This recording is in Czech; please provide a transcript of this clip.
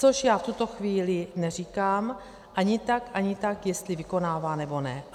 Což já v tuto chvíli neříkám ani tak, ani tak, jestli vykonává, nebo ne.